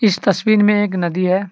इस तस्वीन में एक नदी है।